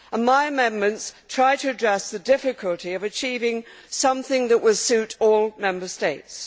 My amendments try to address the difficulty of achieving something that will suit all Member States.